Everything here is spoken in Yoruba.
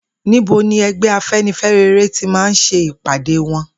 Níbo ní e̩gbé̩ Afe̩nifé̩re ti máa ń s̩e ìpàdé wo̩n?